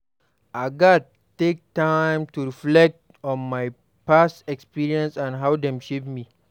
I gats take time to reflect on my past experiences and how dem shape me.